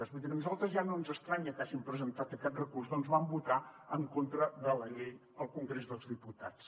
vull dir que a nosaltres ja no ens estranya que hagin presentat aquest recurs perquè van votar en contra de la llei al congrés dels diputats